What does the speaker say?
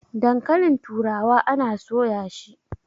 dankalin turawa ana soya shi!